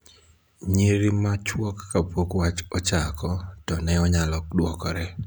nyiriri machuok kapok wach ochako, to ne onyalo dwokore